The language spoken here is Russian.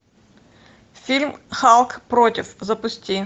фильм халк против запусти